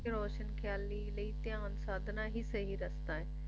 ਰੋਸ਼ਨ ਖਿਆਲੀ ਲਈ ਧਿਆਨ ਸਾਧਨਾ ਹੀ ਸਹੀ ਰਚਨਾ ਹੈ